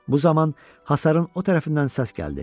Bu zaman hasarın o tərəfindən səs gəldi.